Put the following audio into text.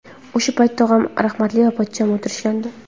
O‘sha paytda tog‘am rahmatli va pochcham o‘tirishgandi.